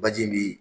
Baji bi